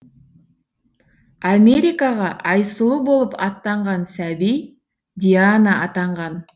америкаға айсұлу болып аттанған сәби диана атанған